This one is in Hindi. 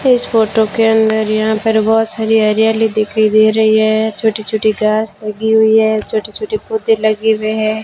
इस फोटो के अंदर यहां पर बहोत सारी हरियाली दिखाई दे रही है छोटी छोटी घास लगी हुई है छोटे छोटे पौधे लगे हुए हैं।